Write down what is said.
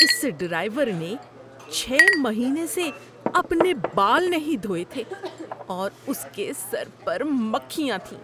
اس driver نے چھ مہینے سے اپنے بال نہیں دھوئے تھے اور اس کے سر پر مکھیاں تھیں۔